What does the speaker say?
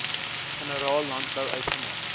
generaal landbou uitgemaak